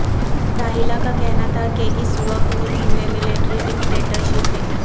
راحیلہ کا کہنا تھا کہ اس وقت ملک میں ملٹری ڈکٹیٹر شپ ہے